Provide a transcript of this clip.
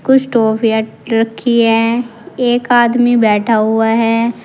कुछ टॉफियां रखी हैं एक आदमी बैठा हुआ है।